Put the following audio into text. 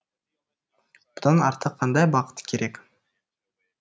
бұдан артық қандай бақыт керек